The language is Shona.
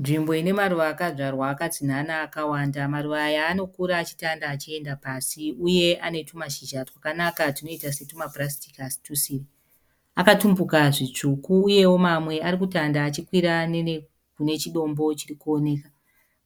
Nzvimbo ine maruva akadyarwa akatsinhanha akawanda. Maruva aya anokura achitanda achienda pasi. Uye ane tumashizha twakanaka tunoita setumapurasitiki asi tusiri. Akatumbuka zvitsvuku. Uyewo mamwe arikutanda achikura kunechidombo chirikuoneka.